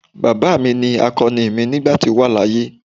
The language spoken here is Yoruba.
Baba mi ni akoni mi nigba to wa laaye.